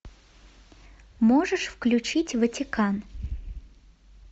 можешь включить ватикан